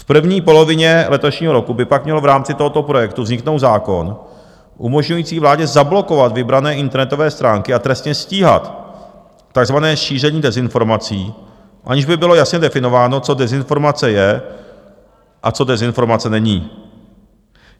V první polovině letošního roku by pak měl v rámci tohoto projektu vzniknout zákon umožňující vládě zablokovat vybrané internetové stránky a trestně stíhat takzvané šíření dezinformací, aniž by bylo jasně definováno, co dezinformace je a co dezinformace není.